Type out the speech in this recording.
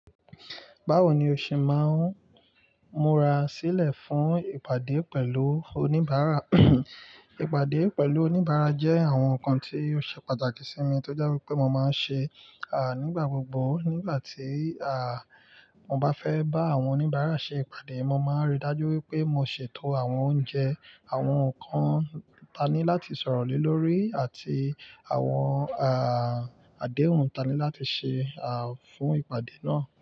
Báwo ni o ṣe máa ń múra sílẹ̀ fún ìpàdé pẹ̀lú oníbàárà? Ìpàdé pẹ̀lú oníbàárà jẹ́ àwọn nǹkan tí ó ṣe pàtàkì sí mi tó jẹ́ wípé mo máa ń ṣe, à, nígbà gbogbo. Nígbà tí, à, mo bá fẹ́ bá àwọn oníbàárà ṣe ìpàdé, mo máa ń ríi dájú wípé mo ṣètò àwọn oúnjẹ, àwọn nǹkan tani láti sọ̀rọ̀ le lórí àti àwọn, à, àdéhùn tani láti ṣe, à, fún ìpàdé náà.